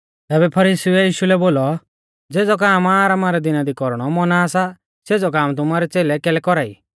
तैबै फरीसीउऐ यीशु लै बोलौ देखौ ज़ेज़ौ काम आरामा रै दिना दी कौरणौ मौना सा सेज़ौ काम तुमारै च़ेलै कैलै कौरा ई